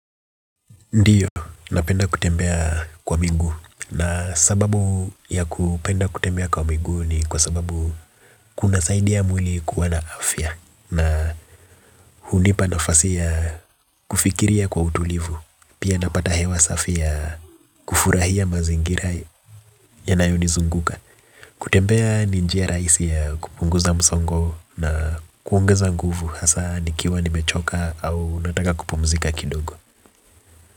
Ndio, napenda kutembea kwa miguu na sababu ya kupenda kutembea kwa miguu ni kwa sababu kunasaidia mwili kuwa na afya na hunipa nafasi ya kufikiria kwa utulivu, pia napata hewa safi ya kufurahia mazingira yanayonizunguka, kutembea ni njia rahisi ya kupunguza msongo na kuongeza nguvu hasaa nikiwa nimechoka au nataka kupumzika kidogo.